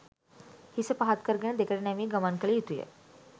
හිස පහත්කරගෙන දෙකට නැමී ගමන් කළ යුතුය